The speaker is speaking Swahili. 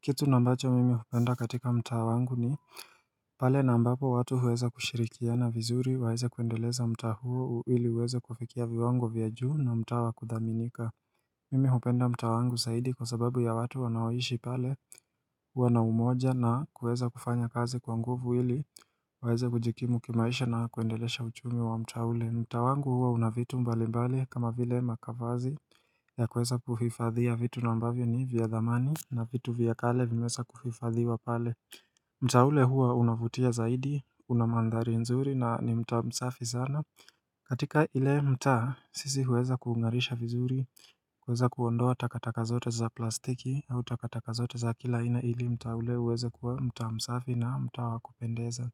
Kitu na ambacho mimi hupenda katika mtaa wangu ni pale na ambapo watu huweza kushirikiana vizuri waeze kuendeleza mta huo hili uweze kufikia viwango vya juu na mta wakudhaminika Mimi hupenda mtaa wangu saidi kwa sababu ya watu wanaoishi pale wana umoja na kuweza kufanya kazi kwanguvu hili weze kujikimu kimaisha na kuendelesha uchumi wa mtaule mtaa wangu huwa unavitu mbali mbali kama vile makavazi ya kweza kufifadhia vitu nambavyo ni vya dhamani na vitu vya kale vimesa kuhifadhiwa pale mtaa ule huwa unavutia zaidi, unamandhari nzuri na ni mta msafi sana katika ile mta sisi huweza ku ungarisha vizuri kweza kuondoa takataka zote za plastiki au takataka zote za kila ina ili mtaa ule huweze kuwa mtaa msafi na mta wakupendeza